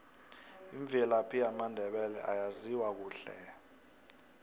imvelaphi yamandebele ayaziwa kuhle hle